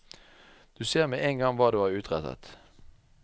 Du ser med en gang hva du har utrettet.